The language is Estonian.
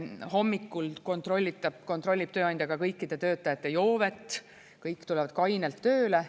Hommikul kontrollib tööandja ka kõikide töötajate joovet, kõik tulevad kainelt tööle.